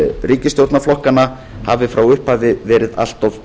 ríkisstjórnarflokkanna hafi frá upphafi verið allt of